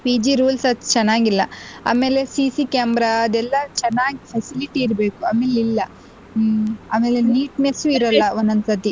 PG rules ಅದು ಚೆನ್ನಾಗಿಲ್ಲ ಅಮೇಲೆ CC camera ಅದೆಲ್ಲಾ ಚೆನ್ನಾಗ್ facility ಇರ್ಬೇಕು ಅಮೇಲ್ ಇಲ್ಲ ಹ್ಮ್ ಆಮೇಲೆ neatness ಇರಲ್ಲ ಒಂದೊಂದ್ ಸತಿ.